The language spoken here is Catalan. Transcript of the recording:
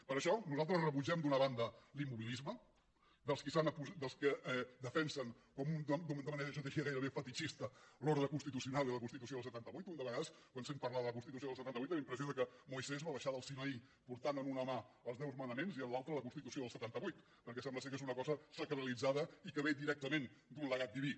per això nosaltres rebutgem d’una banda l’immobilisme dels que defensen de manera gairebé fetitxista l’ordre constitucional i la constitució del setanta vuit un de vegades quan sent parlar de la constitució del setanta vuit té la impressió que moisès va baixar del sinaí portant en una mà els deu manaments i en l’altra la constitució del setanta vuit perquè sembla que és una cosa sacralitzada i que ve directament d’un legat diví